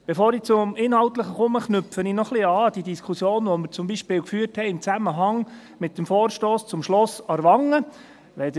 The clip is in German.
Bevor ich zum Inhaltlichen komme, knüpfe ich noch ein wenig an die Diskussion an, die wir zum Beispiel im Zusammenhang mit dem Vorstoss zum Schloss Aarwangen geführt haben.